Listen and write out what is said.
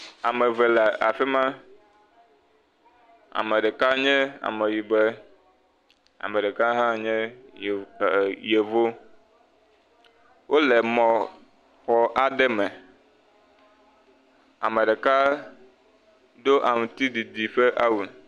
Ame eve le afi ma, ame ɖeka nye ameyibɔe, ame ɖeka hã nye yevu, wole mɔ xɔ aɖe me, ame ɖeka do aŋutiɖiɖi ƒe awu.